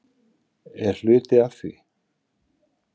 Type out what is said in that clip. Er hluti af því?